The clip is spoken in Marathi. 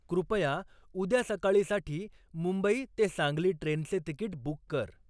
कृपया उद्या सकाळीसाठी मुंबई ते सांगली ट्रेनचे तिकीट बुक कर